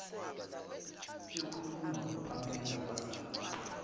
ekhulunywa ngupamela wazama